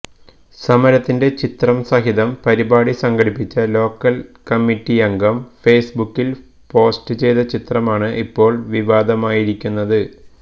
സമരത്തിന്റെ ചിത്രം സഹിതം പരിപാടി സംഘടിപ്പിച്ച ലോക്കൽ കമ്മറ്റിയംഗം ഫേസ് ബുക്കിൽ പോസ്റ്റ് ചെയ്ത ചിത്രമാണ് ഇപ്പോൾ വിവാദമായിരിക്കുന്നത്